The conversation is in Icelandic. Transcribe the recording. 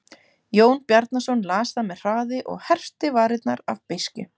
Jón Bjarnason las það með hraði og herpti varirnar af beiskju.